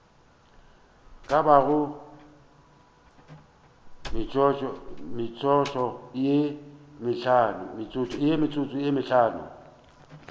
ka bago metsotso ye mehlano